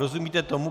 Rozumíte tomu?